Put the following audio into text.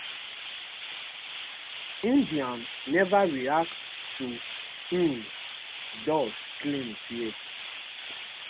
india neva react to um dos claims yet